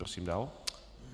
Prosím dál.